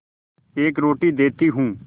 एक रोटी देती हूँ